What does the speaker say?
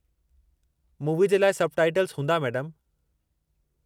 Movie जे लाइ subtitles हूंदा, मैडमु।